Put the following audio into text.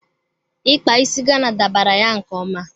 Ikpa isi Gana dabara ya nke ọma.